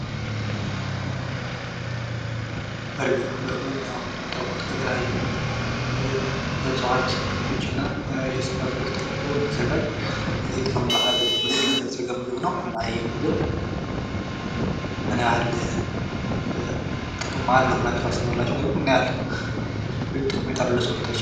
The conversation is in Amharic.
በርገር በርገር እንግዲህ እንደምታውቁት ከእጽዋት ክፍሎች እና ከስጋ ክፍሎች ተደርጎ የሚዘጋጅ በጣም በአለም የተለመደ ምግብ ነው። እናም ይሄ ምግብ ምን ያህል ጥቅም አለው ብላችሁ ታስባላችሁ ወይም ምን ያህል ጠቀሜታ አለው ለሰዉነታችን?